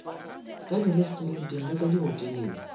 ka direstoranteng le ka dihoteleng